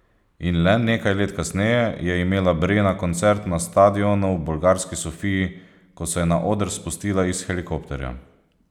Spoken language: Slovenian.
In le nekaj let kasneje je imela Brena koncert na stadionu v bolgarski Sofiji, ko se je na oder spustila iz helikopterja.